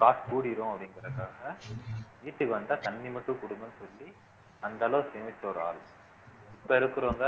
காசு கூடிரும் அப்படிங்கிறதுக்காக வீட்டுக்கு வந்தா தண்ணி மட்டும் கொடுங்கன்னு சொல்லி அந்த அளவுக்கு சேமிச்ச ஒரு ஆளு இப்ப இருக்கறவங்க